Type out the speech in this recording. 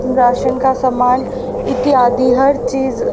ration का सामान इत्यादि हर चीज --